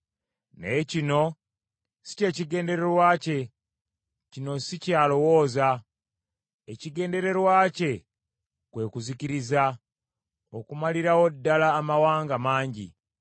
Naye kino si kye kigendererwa kye, kino si ky’alowooza. Ekigendererwa kye kwe kuzikiriza, okumalirawo ddala amawanga mangi.